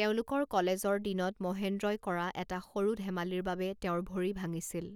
তেওঁলোকৰ কলেজৰ দিনত মহেন্দ্ৰই কৰা এটা সৰু ধেমালিৰ বাবে তেওঁৰ ভৰি ভাঙিছিল।